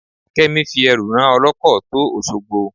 Kẹ́mi fi ẹrù rán ọlọ́kọ̀ tó Òṣogbo.